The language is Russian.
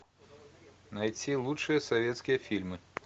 найти лучшие советские фильмы